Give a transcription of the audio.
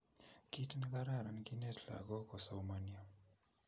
Kit ne kararan kinet lakok kosomanio